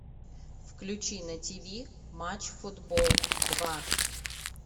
включи на тиви матч футбол два